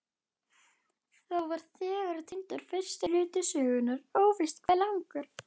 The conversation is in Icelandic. Þá var þegar týndur fyrsti hluti sögunnar, óvíst hve langur.